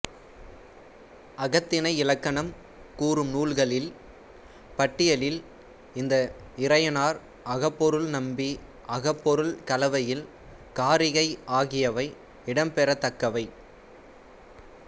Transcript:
அகத்திணை இலக்கணம் கூறும் நூல்களின் பட்டியலில் இந்த இறையனார் அகப்பொருள் நம்பி அகப்பொருள் களவியல் காரிகை ஆகியவை இடம்பெறத் தக்கவை